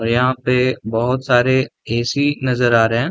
यहाँ पे बहुत सारे ए.सी. नजर आ रहें हैं।